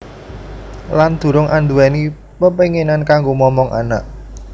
Lan durung anduweni pepenginan kanggo momong anak